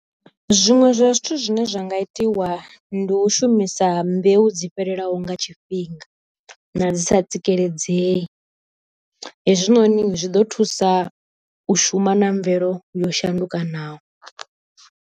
Zwiṅwe zwa zwithu zwine zwa nga itiwa ndi u shumisa mbeu dzo fhelelaho nga tshifhinga, na dzi sa tsikeledzei, hezwinoni zwiḓo thusa u shuma na mvelo yo shandukanaho.